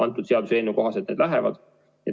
Selle seaduseelnõu kohaselt nad lähevad.